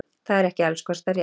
Það er ekki alls kostar rétt.